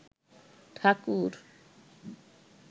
ঠাকুর